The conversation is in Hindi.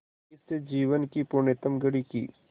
इस जीवन की पुण्यतम घड़ी की स्